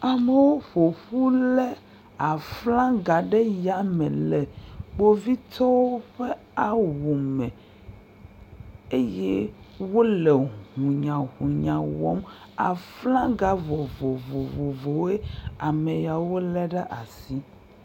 amewo ƒoƒu le aflanga ɖe yame le kpovitɔwo ƒe awu me eye wóle ʋunyaʋunya wɔm aflaga vovovowoe ameyawo le ɖasi